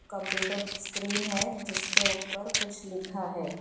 Computer screen है जिसके ऊपर कुछ लिखा है।